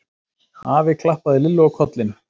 Afi klappaði Lillu á kollinn.